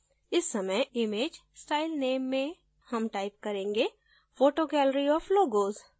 इस समय image style name में हम time करेंगे: photo gallery of logos